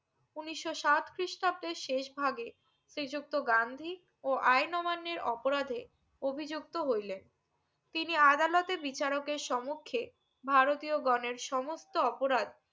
উনিশশো সাত খ্রিস্টাব্দে শেষ ভাগে শ্রীযুক্ত গান্ধী ও আইন অমান্যের অপরাধে অভিযুক্ত হইলেন তিনি আদালতের বিচারকের সম্মুখে ভারতীয় গনের সমুস্থ আপরাধ